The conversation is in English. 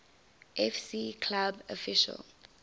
fc club official